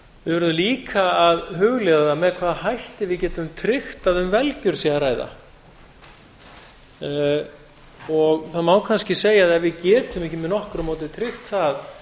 verðum líka að hugleiða með hvaða hætti við getum tryggt að um velgjörð sé að ræða það má kannski segja að ef við getum ekki með nokkru móti tryggt það